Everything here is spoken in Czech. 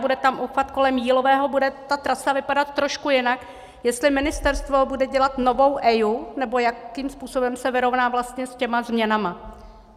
Bude tam obchvat kolem Jílového, bude ta trasa vypadat trošku jinak, jestli ministerstvo bude dělat novou EIA, nebo jakým způsobem se vyrovná vlastně s těmi změnami.